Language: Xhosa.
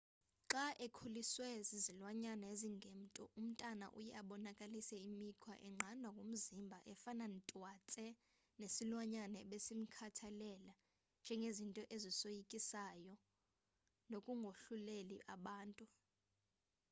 xa ekhuliswe zizilwanyanyana ezingemntu umntana uye abonakalise imikhwa enqandwa ngumzimba efana twatse nesilwanyana ebesimkhathalela njengezinto ezisoyikayo nokungohluleli abantu